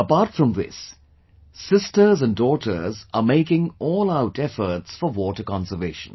Apart from this, sisters and daughters are making allout efforts for water conservation